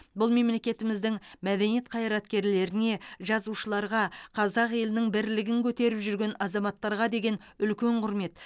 бұл мемлекетіміздің мәдениет қайраткерлеріне жазушыларға қазақ елінің бірлігін көтеріп жүрген азаматтарға деген үлкен құрмет